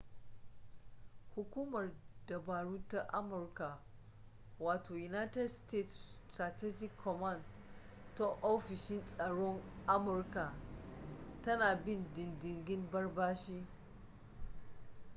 hukumar dabaru ta amurka wato united states strategic command ta ofishin tsaron amurka tana bin diddigin ɓarɓashi